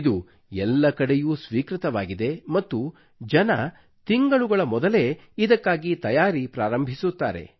ಇದು ಎಲ್ಲಾ ಕಡೆಯೂ ಸ್ವೀಕೃತವಾಗಿದೆ ಮತ್ತು ಜನರು ತಿಂಗಳುಗಳ ಮೊದಲೇ ಇದಕ್ಕಾಗಿ ತಯಾರಿ ಪ್ರಾರಂಭಿಸುತ್ತಾರೆ